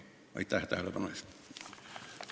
Aitäh tähelepanu eest!